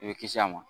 I bɛ kisi a ma